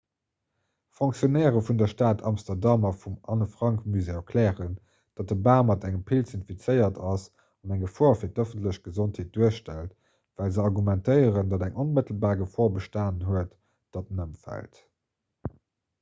fonctionnairë vun der stad amsterdam a vum anne-frank-musée erklären datt de bam mat engem pilz infizéiert ass an eng gefor fir d'ëffentlech gesondheet duerstellt well se argumentéieren datt eng onmëttelbar gefor bestanen huet datt en ëmfält